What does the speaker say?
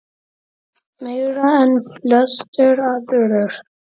Meira en flestir aðrir.